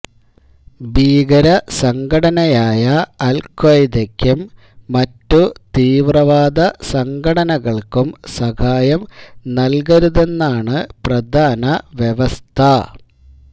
ഭീകരസംഘടനയായ അൽഖ്വായ്ദയ്ക്കും മറ്റു തീവ്രവാദ സംഘടനകൾക്കും സഹായം നൽകരുതെന്നാണ് പ്രധാനവ്യവസ്ഥ